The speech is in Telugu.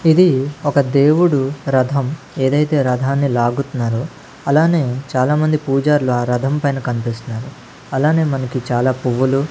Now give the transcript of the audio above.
ఇది ఒక దేవుడు రథం ఏదైతే రధాన్ని లాగుతున్నారో అలానే చాలామంది పూజార్లు ఆ రథం పైన కనిపిస్తున్నారు అలానే మనకి చాలా పువ్వులు.